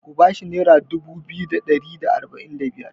Ku ba shi naira dubu biyu da ari da arba'in da biyar!